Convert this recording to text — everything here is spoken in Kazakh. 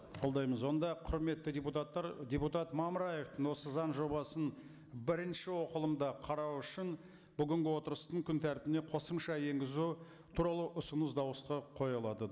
қолдаймыз онда құрметті депутаттар депутат мамыраевтың осы заң жобасын бірінші оқылымда қарау үшін бүгінгі отырыстың күн тәртібіне қосымша енгізу туралы ұсыныс дауысқа қойылады